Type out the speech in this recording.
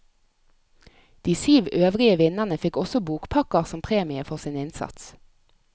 De syv øvrige vinnerne fikk også bokpakker som premie for sin innsats.